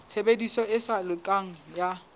tshebediso e sa lokang ya